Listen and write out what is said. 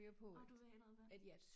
Nåh du ved noget om det